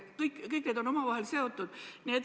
Kõik need asjad on omavahel seotud.